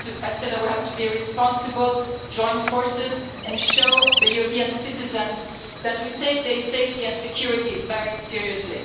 I said we have to be responsible, join forces and show the European citizens that we take their safety and security very seriously.